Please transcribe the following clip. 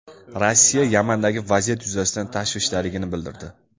Rossiya Yamandagi vaziyat yuzasidan tashvishdaligini bildirdi.